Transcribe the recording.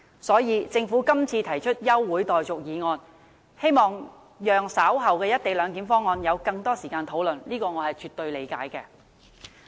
所以，政府今次提出休會待續的議案，希望讓議員稍後有更多時間討論"一地兩檢"方案，對此我是絕對理解的。